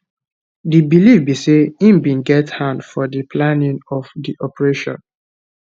di believe be say im bin get hand for di planning of di operation